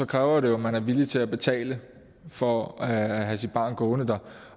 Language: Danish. kræver det jo at man er villig til at betale for at have sit barn gående der